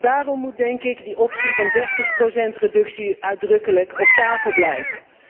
Daarom moet, denk ik, de optie van 30 reductie uitdrukkelijk op tafel blijven.